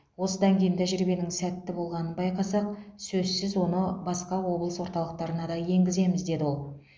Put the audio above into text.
осыдан кейін тәжірибенің сәтті болғанын байқасақ сөзсіз оны басқа облыс орталықтарына да енгіземіз деді ол